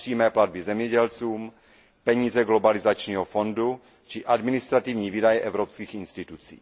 přímé platby zemědělcům, peníze globalizačního fondu či administrativní výdaje evropských institucí.